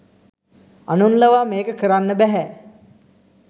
අනුන් ලවා මේක කරන්න බැහැ.